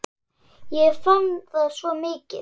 Ég fann það svo mikið.